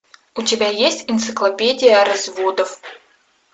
у тебя есть энциклопедия разводов